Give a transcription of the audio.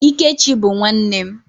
Ikechi bụ nwanne m.